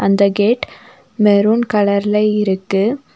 இந்த gate maroon கலர்ல இருக்கு.